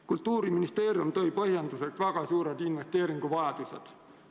Kultuuriministeerium tõi põhjenduseks väga suured investeeringuvajadused.